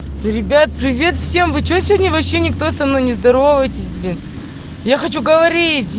ребят привет всем вы что сегодня вообще никто со мной не здороваетесь блин я хочу говорить